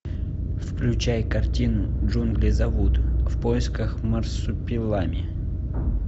включай картину джунгли зовут в поисках марсупилами